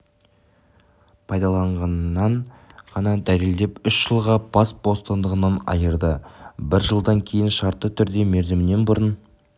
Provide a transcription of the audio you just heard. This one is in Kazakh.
пайдаланғанын ғана дәлелдеп үш жылға бас бостандығынан айырды бір жылдан кейін шартты түрде мерзімінен бұрын